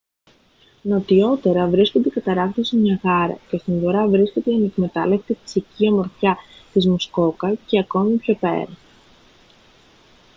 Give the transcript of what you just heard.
νοτιότερα βρίσκονται οι καταρράκτες του νιαγάρα και στον βορρά βρίσκεται η ανεκμετάλλευτη φυσική ομορφιά της μουσκόκα και ακόμη πιο πέρα